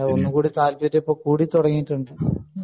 ഒന്നുകൂടി താല്പര്യം കൂടി തുടങ്ങിയിട്ടുണ്ട്